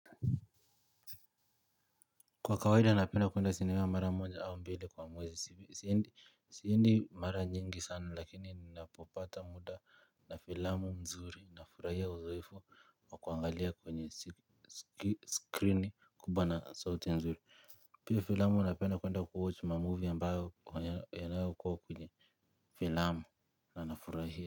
Kwa kawaida napenda kuenda sinema mara moja au mbili kwa mwezi siendi siendi mara nyingi sana lakini ninapopata muda na filamu mzuri na furahia uzoefu wakuangalia kwenye screen kubwa na sauti mzuri pia filamu napenda kuenda kuwatch ma movie ambayo yanayokuwa kwenye filamu na na furahia.